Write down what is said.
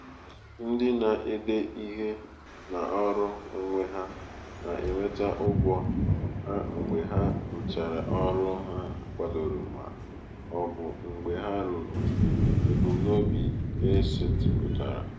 ndị na-ede ihe n’ọrụ onwe ha na-enweta ụgwọ ha mgbe ha ruchara ọrụ a kwadoro ma ọ bụ mgbe ha ruru ebumnobi e setịpụtara.